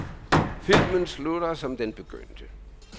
Filmen slutter, som den begyndte.